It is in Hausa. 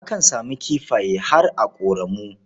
Akan samu kifaye har a ƙoramu.